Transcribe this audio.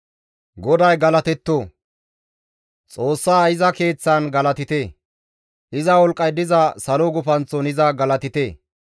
GODAY galatetto! Xoossa iza keeththan galatite; iza wolqqay diza salo gufanththon iza galatite.